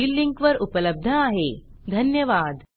हे भाषांतर मनाली रानडे यांनी केले असून मी रंजना भांबळे आपला निरोप घेते